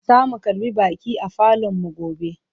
Zamu karbi baƙi a falonmu gobe.